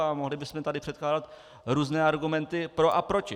A mohli bychom tady předkládat různé argumenty pro a proti.